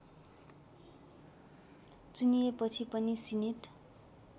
चुनिएपछि पनि सिनेट